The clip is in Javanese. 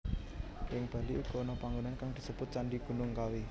Ing Bali uga ana panggonan kang disebut Candhi Gunung Kawi